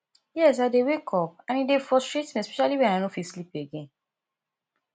yes i dey wake up and e dey frustrate me especially when i no fit sleep again